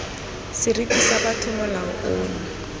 seriti sa botho molao ono